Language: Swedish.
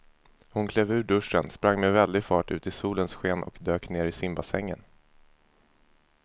Hon klev ur duschen, sprang med väldig fart ut i solens sken och dök ner i simbassängen.